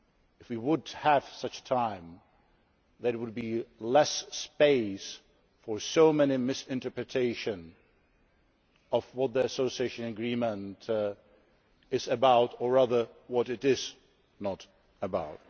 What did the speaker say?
If we had the time, there would be less space for so many misinterpretations of what the Association Agreement is about or rather what it is not about.